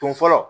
Don fɔlɔ